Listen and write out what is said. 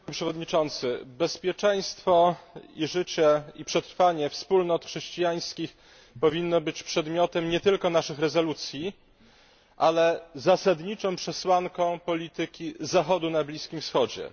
Panie Przewodniczący! Bezpieczeństwo i życie, i przetrwanie wspólnot chrześcijańskich powinno być przedmiotem nie tylko naszych rezolucji, ale zasadniczą przesłanką polityki Zachodu na Bliskim Wschodzie.